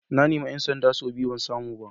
Na nemi ‘yan sanda sau biyu ban samu ba.